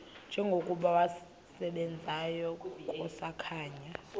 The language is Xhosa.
njengokuba wasebenzayo kusakhanya